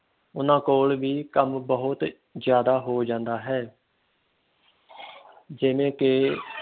ਉਨ੍ਹਾਂ ਕੋਲ ਵੀ ਕੰਮ ਬਹੁਤ ਜਿਆਦਾ ਹੋ ਜਾਂਦਾ ਹੈ ਜਿਵੇਂ ਕਿ